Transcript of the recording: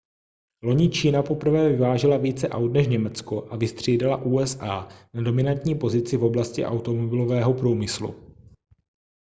loni čína poprvé vyvážela více aut než německo a vystřídala usa na dominantní pozici v oblasti automobilového průmyslu